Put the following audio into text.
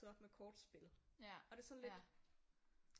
Med kortspil og det er sådan lidt